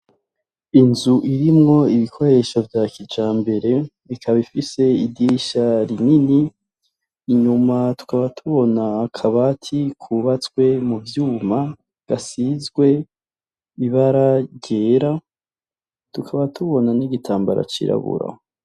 Inzu irimwo ibikoresho vya kijambere ikaba ifise idisha rinini inyuma twaba tubona kabati kubatswe mu vyuma gasizwe bibaragera tukaba tubona n'igitambaro cirabura.